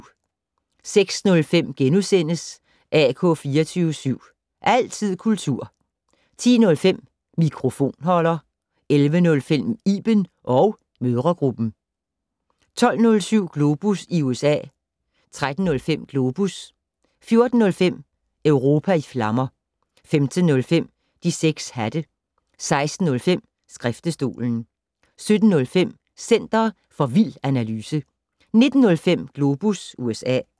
06:05: AK 24syv. Altid kultur * 10:05: Mikrofonholder 11:05: Iben & mødregruppen 12:07: Globus i USA 13:05: Globus 14:05: Europa i flammer 15:05: De 6 hatte 16:05: Skriftestolen 17:05: Center for vild analyse 19:05: Globus USA